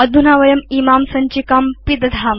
अधुना वयं इमां सञ्चिकां पिदधाम